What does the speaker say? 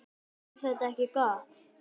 Er þetta ekki gott?